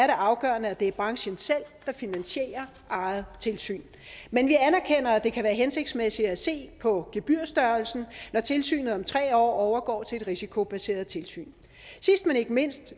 afgørende at det er branchen selv der finansierer eget tilsyn men vi anerkender at det kan være hensigtsmæssigt at se på gebyrstørrelsen når tilsynet om tre år overgår til et risikobaseret tilsyn sidst men ikke mindst